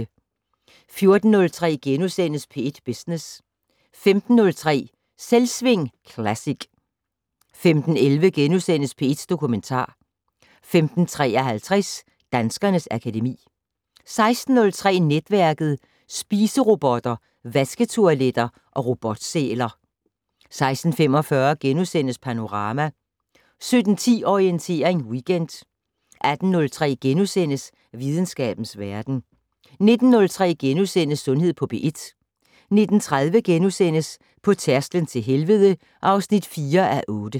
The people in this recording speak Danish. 14:03: P1 Business * 15:03: Selvsving Classic 15:11: P1 Dokumentar * 15:53: Danskernes akademi 16:03: Netværket: Spiserobotter, vasketoiletter og robotsæler 16:45: Panorama * 17:10: Orientering Weekend 18:03: Videnskabens Verden * 19:03: Sundhed på P1 * 19:30: På tærsklen til helvede (4:8)*